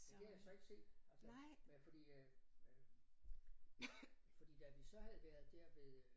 Det kan jeg så ikke se altså men fordi øh fordi da vi så havde været der ved øh